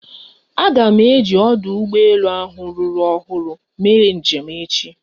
Aga m eji ọdụ ụgbọ elu ahụ ruru ọhụrụ mee njem echi.